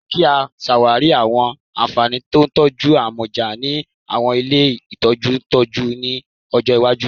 Jẹ ki a ṣawari awọn anfani ti itọju amọja ni awọn ile itọju ntọju ni ọjọ iwaju